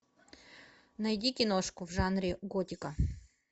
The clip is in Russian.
найди киношку в жанре готика